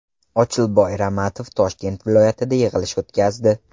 Ochilboy Ramatov Toshkent viloyatida yig‘ilish o‘tkazdi.